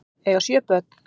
Eiga sjö börn